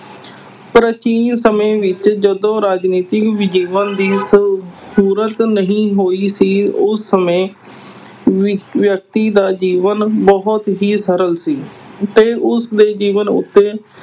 ਪਰ ਸਮੇੇਂ ਵਿੱਚ ਜਦੋਂ ਰਾਜਨੀਤਿਕ ਵਿਗਿਆਨ ਦੀ ਅਹ ਸ਼ੁਰੂਆਤ ਨਹੀਂ ਹੋਈ ਸੀ। ਉਸ ਸਮੇਂ ਅਹ ਵਿਅਕਤੀ ਦਾ ਜੀਵਨ ਬਹੁਤ ਹੀ ਸਰਲ ਸੀ। ਤੇ ਉਸਦੇ ਜੀਵਨ ਉੱਤੇ